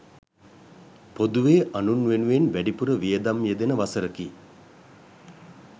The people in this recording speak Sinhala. පොදුවේ අනුන් වෙනුවෙන් වැඩිපුර වියදම් යෙදෙන වසරකි.